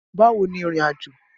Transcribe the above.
Bawo ni ìrìnàjò?